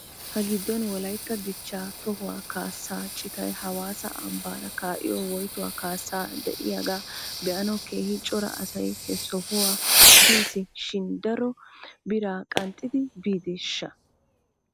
Ha giddon wolaytta dichchaa tohuwaa kaasaa citay hawaassa ambbaara kaa'iyoo woytuwaa kaassay de'iyaa be'anaw keehi cora asay he sohuwaa bis shin dar biraa qanxxidi biideeshsha?